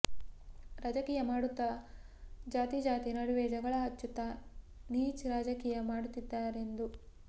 ರಾಜಕೀಯ ಮಾಡುತ್ತಾ ಜಾತಿಜಾತಿ ನಡುವೆ ಜಗಳ ಹಚ್ಚುತ್ತಾ ನೀಚ್ ರಾಜಕೀಯ ಮಾಡುತ್ತಿದ್ದಾರೆಂದು